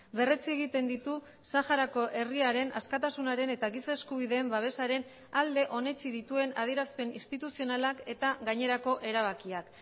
berretsi egiten ditu saharako herriaren askatasunaren eta giza eskubideen babesaren alde onetsi dituen adierazpen instituzionalak eta gainerako erabakiak